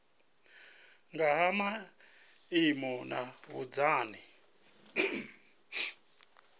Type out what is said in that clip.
nga ha maimo na vhunzani